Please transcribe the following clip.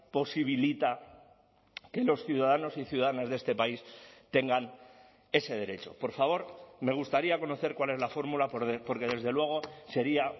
posibilita que los ciudadanos y ciudadanas de este país tengan ese derecho por favor me gustaría conocer cuál es la fórmula porque desde luego sería